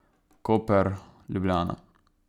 Koper, Ljubljana.